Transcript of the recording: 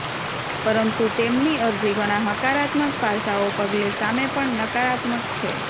પરંતુ તેમની અરજી ઘણા હકારાત્મક પાસાઓ પગલે સામે પણ નકારાત્મક છે